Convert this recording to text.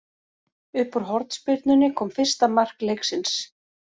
Upp úr hornspyrnunni kom fyrsta mark leiksins.